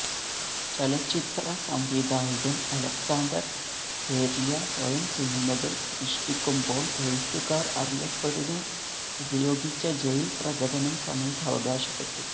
ചലച്ചിത്ര സംവിധായകൻ അലക്സാണ്ടർ സെര്യ് സ്വയം സിനിമകൾ സൃഷ്ടിക്കുമ്പോൾ എഴുത്തുകാർ അറിയപ്പെടുന്ന ഉപയോഗിച്ച ജയിൽ പ്രകടനം സമയത്ത് അവകാശപ്പെട്ടു